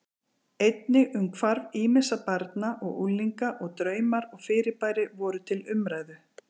Einnig um hvarf ýmissa barna og unglinga og draumar og fyrirbæri voru til umræðu.